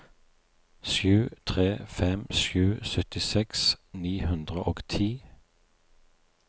sju tre fem sju syttiseks ni hundre og ti